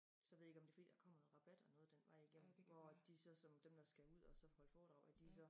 Så jeg ved ikke om det fordi der kommer noget rabat eller noget den vej igennem hvor at de så som dem der skal ud og så holde foredrag de så